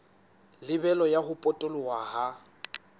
lebelo la ho potoloha ha